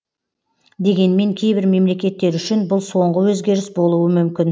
дегенмен кейбір мемлекеттер үшін бұл соңғы өзгеріс болуы мүмкін